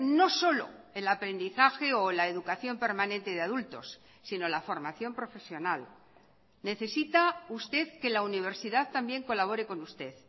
no solo el aprendizaje o la educación permanente de adultos sino la formación profesional necesita usted que la universidad también colabore con usted